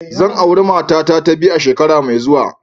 Zan auri matata ta biyu a shekara mai zuwa.